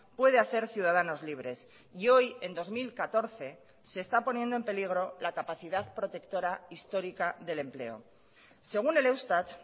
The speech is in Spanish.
puede hacer ciudadanos libres y hoy en dos mil catorce se está poniendo en peligro la capacidad protectora histórica del empleo según el eustat